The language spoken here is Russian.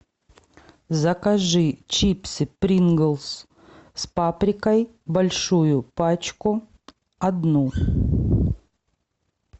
закажи чипсы принглс с паприкой большую пачку одну